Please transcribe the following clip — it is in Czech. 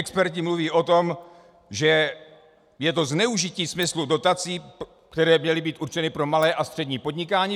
Experti mluví o tom, že je to zneužití smyslu dotací, které měly být určeny pro malé a střední podnikání.